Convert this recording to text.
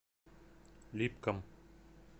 липкам